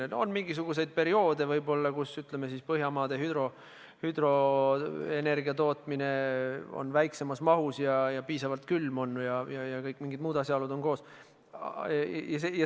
On võib-olla mingisuguseid perioode, kus Põhjamaade hüdroenergiat toodetakse väiksemas mahus ja on väga külm ja kõik muud sellised asjaolud on koos.